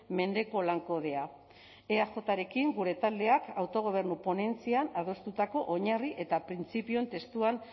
mendeko lan kodea eajrekin gure taldeak autogobernu ponentzian adostutako oinarri eta printzipioen testuan